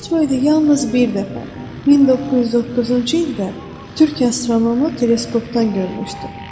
V-612 yalnız bir dəfə 1909-cu ildə türk astronomu teleskopdan görmüşdü.